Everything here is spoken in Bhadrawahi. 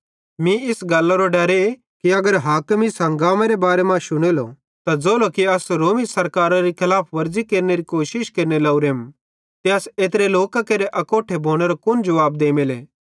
मीं इस गल्लरो डरे कि अगर हाकिम इस हंगामेरे बारे मां शुनेलो त ज़ोलो कि अस रोमी सराकारारी खलाफव्रज़ी केनेरी कोशिश केरने लोरेम ते अस एत्रे लोकां केरे अकोट्ठे भोनेरो कुन जुवाब देमेले